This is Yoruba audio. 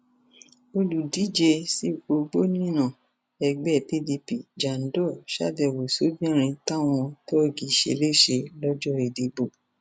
olùdíje sípò gómìnà ẹgbẹ pdp jandor sábẹwò sóbìnrin táwọn tọ́ọ̀gì ṣe léṣe lọjọ ìdìbò